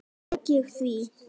Tók ég því?